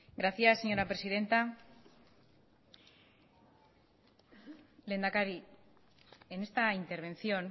gracias señora presidenta lehendakari en esta intervención